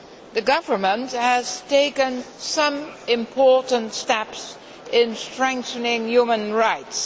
The government has taken some important steps in strengthening human rights.